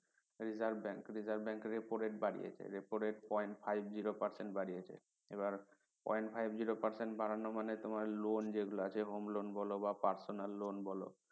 reserve bank reserve bank এর repo rate বাড়িয়েছে repo rate point five zero percent বাড়িয়েছে আর point five zero percent বাড়ানো মানে তোমার loan যেগুলো যে home loan বলো বা personel loan বলো